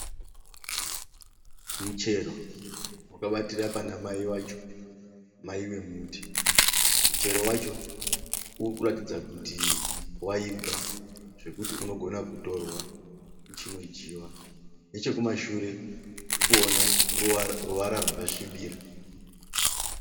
Muchero wakabatira panamai vacho. Mai vemuti. Muchero wacho urikuratidza kuti waibva , zvekuti unogona kutorwa uchinodyiwa. Nechekumashure tikuona ruwara rwakasvibira.